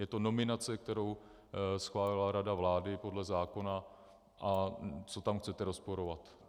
Je to nominace, kterou schválila rada vlády podle zákona, a co tam chcete rozporovat?